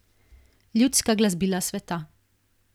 Ljudska glasbila sveta.